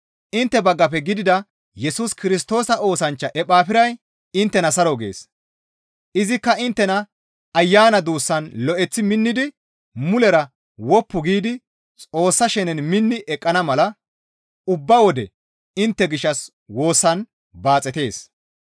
Intte baggafe gidida Yesus Kirstoosa oosanchcha Ephafiray inttena saro gees; izikka inttena Ayana duussan lo7eththi minnidi mulera woppu giidi Xoossa shenen minni eqqana mala ubba wode intte gishshas woosan baaxetees.